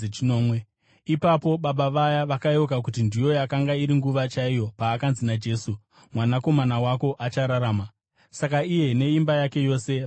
Ipapo baba vaya vakayeuka kuti ndiyo yakanga iri nguva chaiyo paakanzi naJesu, “Mwanakomana wako achararama.” Saka iye neimba yake yose vakatenda.